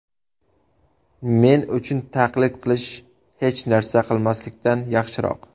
Men uchun taqlid qilish hech narsa qilmaslikdan yaxshiroq.